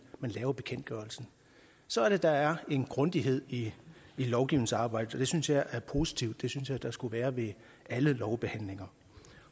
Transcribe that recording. skriver bekendtgørelsen så er det der er en grundighed i lovgivningsarbejdet og det synes jeg er positivt det synes jeg der skulle være ved alle lovbehandlinger